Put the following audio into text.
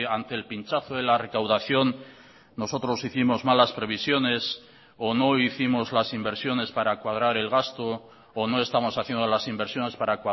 ante el pinchazo de la recaudación nosotros hicimos malas previsiones o no hicimos las inversiones para cuadrar el gasto o no estamos haciendo las inversiones para